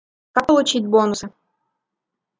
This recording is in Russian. как получить бонусы